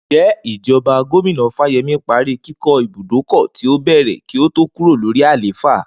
Ǹjé̩ ìjo̩ba Gómìnà Fáye̩mí parí kíkó̩ ibùdókò̩ tí ó bè̩rè̩ kí ó tó kúrò lórí àléfà?